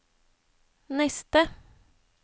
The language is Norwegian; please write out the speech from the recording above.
neste